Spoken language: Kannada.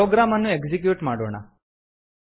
ಪ್ರೊಗ್ರಾಮ್ ಅನ್ನು ಎಕ್ಸಿಕ್ಯೂಟ್ ಮಾಡೋಣ